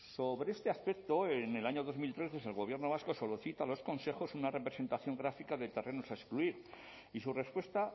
sobre este aspecto en el año dos mil trece el gobierno vasco solicita a los concejos una representación gráfica de terrenos a excluir y su respuesta